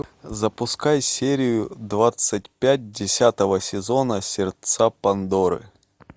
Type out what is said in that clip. запускай серию двадцать пять десятого сезона сердца пандоры